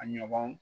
A ɲɔgɔn